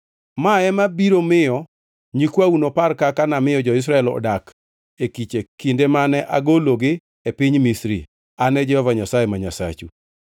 mae ema biro miyo nyikwau nopar kaka namiyo jo-Israel odak e kiche kinde mane agologi e piny Misri. An e Jehova Nyasaye ma Nyasachu.’ ”